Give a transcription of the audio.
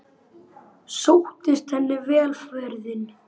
Sóttist henni vel ferðin.